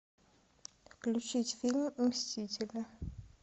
включить фильм мстители